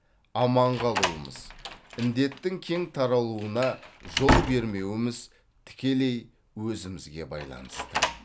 аман қалуымыз індеттің кең таралуына жол бермеуіміз тікелей өзімізге байланысты